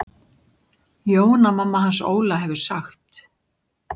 Jóna mamma hans Óla hefur sagt.